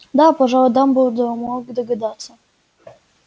да пожалуй дамблдор мог догадаться